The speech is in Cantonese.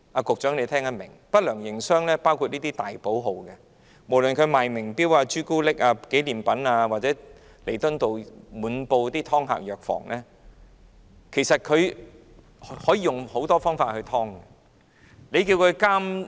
局長應聽得懂，不良營商的還包括這些大寶號，無論是售賣名錶、巧克力、紀念品的，或是滿布彌敦道的藥房，"劏客"手法層出不窮。